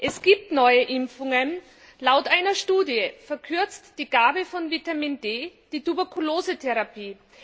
Es gibt neue Impfungen, laut einer Studie verkürzt die Gabe von Vitamin D die Tuberkulosetherapie.